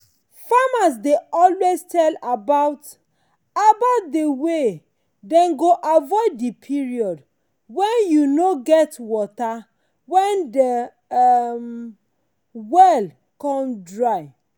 farmers dey always tell about about de way dem go avoid de period wen u nor go get water wen de um well come dry.